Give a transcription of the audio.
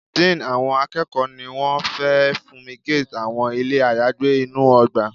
Dean àwọn akẹ́kọ̀ọ́ ní wọ́n fẹ́ funmigate àwọn ilé ayagbé inú ọgbà.